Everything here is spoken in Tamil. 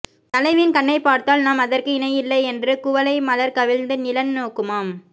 தலைவியின் கண்ணைப் பார்த்தால் நாம் அதற்கு இணையில்லை என்று குவளை மலர் கவிழ்ந்து நிலன் நோக்குமாம்